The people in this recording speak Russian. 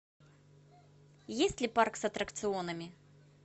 есть ли парк с аттракционами